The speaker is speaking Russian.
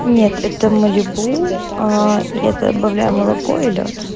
нет это малибу ээ я добавляю молоко и лёд